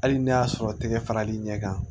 Hali n'a y'a sɔrɔ tɛgɛ faral'i ɲɛ kan